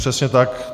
Přesně tak.